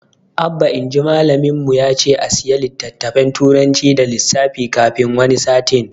Abba inji malamin mu yace a siya littafin turanci da lissafi kafin wani sati